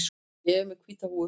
Ég er með hvíta húfu.